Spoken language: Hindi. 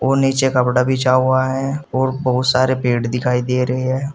और नीचे कपड़ा बिछा हुआ है और बहुत सारे पेड़ दिखाई दे रहे हैं।